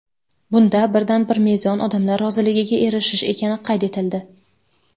Bunda birdan-bir mezon – odamlar roziligiga erishish ekani qayd etildi.